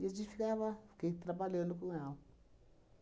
E a gente ficava, fiquei trabalhando com ela.